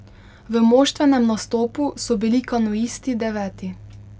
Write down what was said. V moštvenem nastopu so bili kanuisti deveti.